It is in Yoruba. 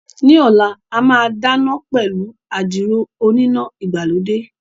Ní ọ̀la, a máa dáná pẹ̀lú àdìrò oníná ìgbàlódé